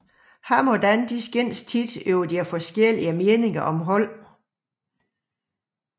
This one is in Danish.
Ham og Dan skændtes tit over deres forskellige meninger om holdet